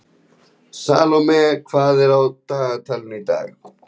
Salome, hvað er á dagatalinu í dag?